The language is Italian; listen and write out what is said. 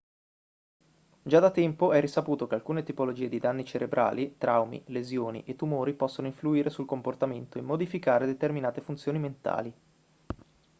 già da tempo è risaputo che alcune tipologie di danni cerebrali traumi lesioni e tumori possono influire sul comportamento e modificare determinate funzioni mentali